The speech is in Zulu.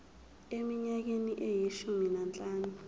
eminyakeni eyishumi nanhlanu